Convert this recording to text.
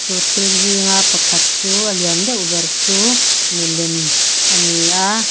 chu thil zinga pakhat chu a lian deuh ber chu milem ani a.